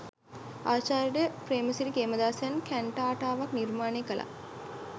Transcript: ආචාර්ය පේ්‍රමසිරි කේමදාසයන් කැන්ටාටාවක් නිර්මාණය කළා.